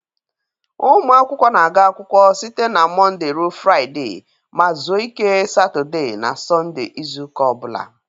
Ụmụ akwụkwọ na-aga akwụkwọ site na Mọnde ruo Fraịde ma zuo ike Satode na Sọnde izu ụka o bụla.